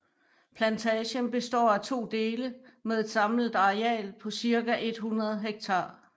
Plantagen består af to dele med et samlet areal på cirka 100 hektar